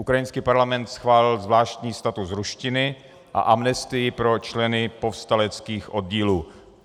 Ukrajinský parlament schválil zvláštní status ruštiny a amnestii pro členy povstaleckých oddílů.